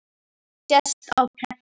sést á prenti.